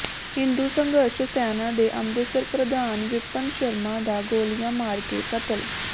ਹਿੰਦੂ ਸੰਘਰਸ਼ ਸੈਨਾ ਦੇ ਅੰਮ੍ਰਿਤਸਰ ਪ੍ਰਧਾਨ ਵਿਪਨ ਸ਼ਰਮਾ ਦਾ ਗੋਲੀਆਂ ਮਾਰਕੇ ਕਤਲ